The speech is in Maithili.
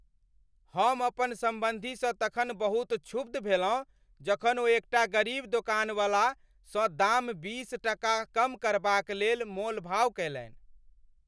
हम अपन सम्बन्धीसँ तखन बहुत क्षुब्ध भेलहुँ जखन ओ एकटा गरीब दोकानवाला सँ दाम बीस टका कम करबाक लेल मोलभाव कयलनि।